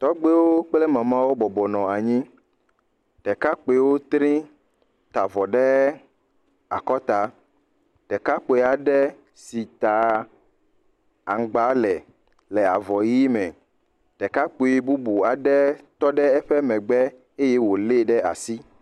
Tɔgbewo kple Mamawo bɔbɔ nɔ anyi. Ɖekakpuiwo tré, ta vɔ ɖe akɔta. Ɖekakpui aɖe sit aa aŋgba le le avɔ ʋi me. Ɖekakpui bubu aɖe tɔ ɖe eƒe megbe. Eye wòlée ɖe asi.